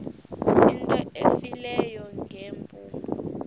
into efileyo ngeempumlo